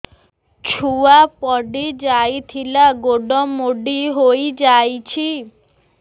ଛୁଆ ପଡିଯାଇଥିଲା ଗୋଡ ମୋଡ଼ି ହୋଇଯାଇଛି